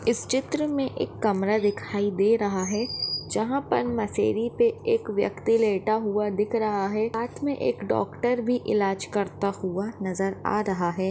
इस चित्र में एक कमरा दिखाई दे रहा है जहाँ पर मशेरी पे एक व्यक्ति लेटा हुआ दिख रहा है साथ में एक डॉक्टर भी इलाज करता हुआ नजर आ रहा है।